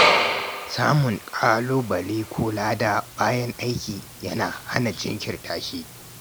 Samun ƙalubale ko lada bayan kammala aiki yana hana jinkirta shi.